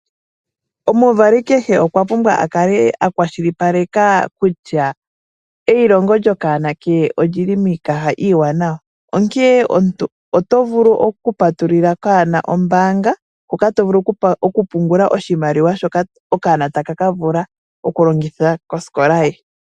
Omuvali kehe okwa pumbwa a kale akwashilipaleka kutya eyi longo lyokanona ke olyi li miikaha iiwanawa onkene omuntu oto vulu okupatulila okanona ombanga mpoka to vulu okupungula oshimaliwa shoka okanona taka ka vula okulongitha kosikola ye.